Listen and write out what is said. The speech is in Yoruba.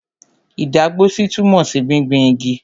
Ìdágbósí túmọ̀ sí gbingbin igi.